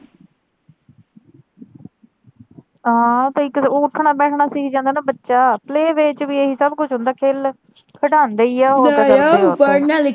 ਹਾਂ ਤੇ ਇੱਕ ਤੇ ਉੱਠਣਾ ਬੈਠਣਾ ਸਿੱਖ ਜਾਂਦਾ ਨਾ ਬੱਚਾ play way ਚ ਵੀ ਇਹੀ ਸਬ ਕੁਛ ਹੁੰਦਾ ਖੇਲ ਖਡਾਉਂਦੇ ਈ ਆ ।